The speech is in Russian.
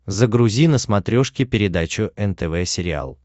загрузи на смотрешке передачу нтв сериал